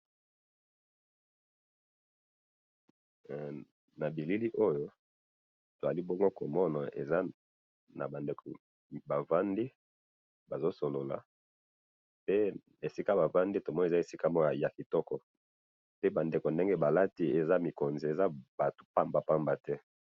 nabileli oyo balibongo komona eza bandeko bavandi bazokosolola eh esikabavandi eza esika yakitoko pe bandeko esika balati eza bamikonzi eza batu yapabapambate